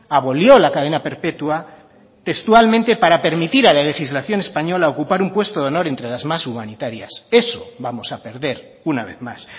abolió la cadena perpetua textualmente para permitir a la legislación española ocupar un puesto de honor entre las más humanitarias eso vamos a perder una vez más